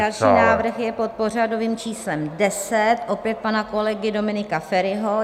Další návrh je pod pořadovým číslem 10, opět pana kolegy Dominika Feriho.